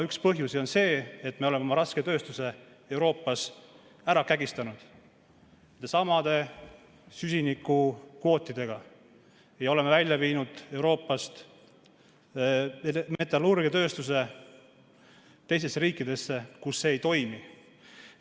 Üks põhjusi on see, et me oleme oma rasketööstuse Euroopas nendesamade süsinikukvootidega ära kägistanud ja oleme Euroopast metallurgiatööstuse välja viinud teistesse riikidesse, kus see ei toimi.